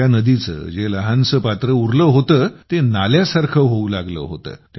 या नदीचे जे लहानसे पात्र उरले होते ते नाल्यासारखे होऊ लागले होते